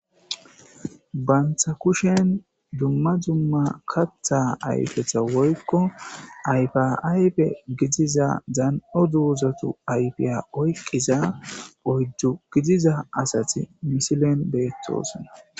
banta kushen dumma dumma katha ayfeta woykko ayfa aype gidiza dan7o duuzatu ayfiya oyqqiza oyju gidiza asati misilen beettoosonna